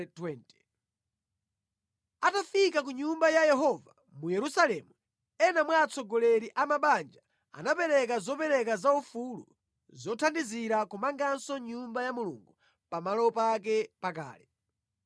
Atafika ku Nyumba ya Yehova mu Yerusalemu, ena mwa atsogoleri a mabanja anapereka zopereka zaufulu zothandizira kumanganso Nyumba ya Mulungu pamalo pake pakale.